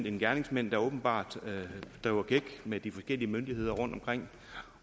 en gerningsmand der åbenbart driver gæk med de forskellige myndigheder rundtomkring